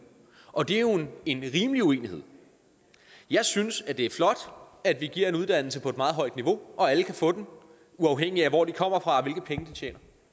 og det er jo en rimelig uenighed jeg synes at det er flot at vi giver en uddannelse på et meget højt niveau og alle kan få den uafhængigt af hvor de kommer fra og hvilke penge de tjener